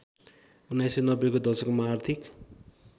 १९९०को दशकमा आर्थिक